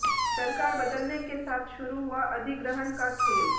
सरकार बदलने के साथ शुरू हुआ अधिग्रहण का खेल